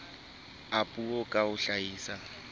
a puo ka ho hlahisa